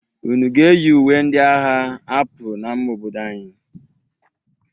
Unu ga-eyi uwe ndị a agha apụ n'ama obodo anyị?